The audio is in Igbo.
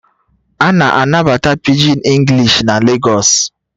A na-anabata Pidgin English na Lagos